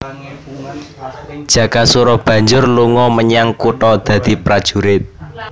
Jakasura banjur lunga menyang kutha dadi prajurit